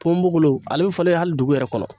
Ponmonbokolon ale bi falen hali dugu yɛrɛ kɔnɔ.